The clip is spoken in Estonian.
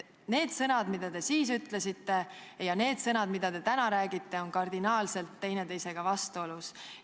Need sõnad, mida te siis ütlesite, ja need sõnad, mida te täna räägite, on kardinaalselt vastuolus.